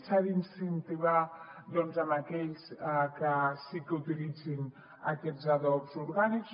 s’han d’incentivar aquells que sí que utilitzin aquests adobs orgànics